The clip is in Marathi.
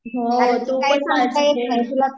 हो तु पण काळजी घे